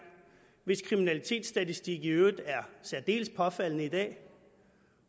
hvis kriminalitetsstatistik i øvrigt er særdeles påfaldende i dag